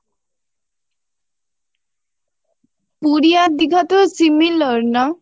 পুরী আর দিঘা তো similar না?